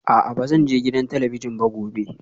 A'a ba zan je gidan talabijin ba gobe